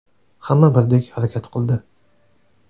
Hamma birdek harakat qildi.